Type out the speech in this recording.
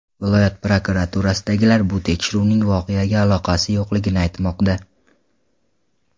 Viloyat prokuraturasidagilar bu tekshiruvning voqeaga aloqasi yo‘qligini aytmoqda.